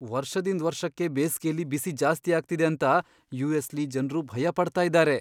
ವರ್ಷದಿಂದ್ ವರ್ಷಕ್ಕೆ ಬೇಸ್ಗೆಲಿ ಬಿಸಿ ಜಾಸ್ತಿ ಆಗ್ತಿದೆ ಅಂತ ಯುಎಸ್ಲಿ ಜನ್ರು ಭಯ ಪಡ್ತಾ ಇದ್ದಾರೆ.